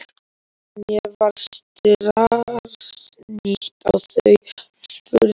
Mér varð starsýnt á þau en spurði einskis.